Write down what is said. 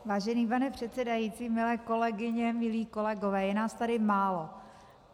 Vážený pane předsedající, milé kolegyně, milí kolegové, je nás tady málo.